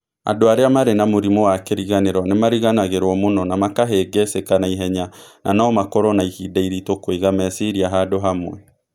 Andũ arĩa marĩ na mũrimũ wa kĩriganĩro nĩ mariganagĩrũo mũno na makahĩngĩcĩka na ihenya na no makorũo na ihinda iritũ kũiga meciria handũ hamwe.